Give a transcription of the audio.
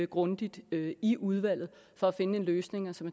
grundigt i udvalget for at finde en løsning